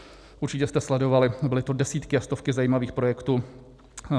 Určitě jste sledovali, byly to desítky a stovky zajímavých projektů.